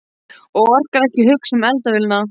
Og orkar ekki að hugsa um eldavélina.